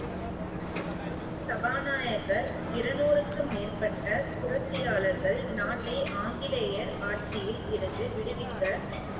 சபாநாயகர், இருநூறுக்கும் மேற்பட்ட புரட்சியாளர்கள் நாட்டை ஆங்கிலேயர் ஆட்சியில் இருந்து விடுவிக்க